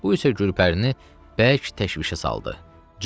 Bu isə Gülpərini bərk təşvişə saldı.